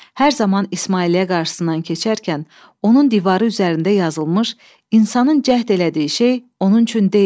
Hər zaman İsmailliyə qarşısından keçərkən onun divarı üzərində yazılmış "İnsanın cəhd elədiyi şey onun üçün deyil.